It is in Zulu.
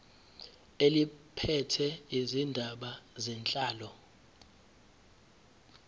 eliphethe izindaba zenhlalo